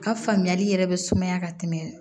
A ka faamuyali yɛrɛ be sumaya ka tɛmɛ